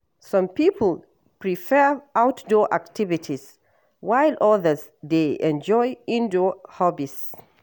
Some people prefer outdoor activities, while others dey enjoy indoor hobbies.